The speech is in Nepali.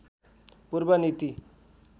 पूर्व नीति